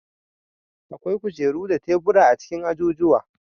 Akwai kujeru da tebura a cikin ajujuwa.